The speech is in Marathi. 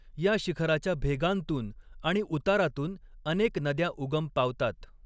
या शिखराच्या भेगांतून आणि उतारातून अनेक नद्या उगम पावतात.